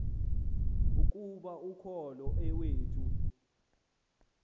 ukuba ukholo iwethu